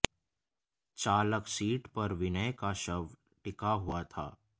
चालक सीट पर विनय का शव टिका हुआ था